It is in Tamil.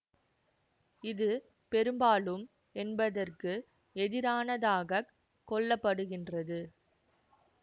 இது பெரும்பாலும் என்பதற்கு எதிரானதாகக் கொள்ளப்படுகின்றது